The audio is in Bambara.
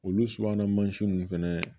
Olu subahana mansinw fɛnɛ